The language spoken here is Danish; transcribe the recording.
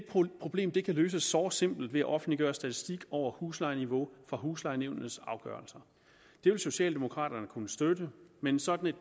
problem kan løses såre simpelt ved at offentliggøre statistik over huslejeniveau fra huslejenævnets afgørelser det vil socialdemokraterne kunne støtte men sådan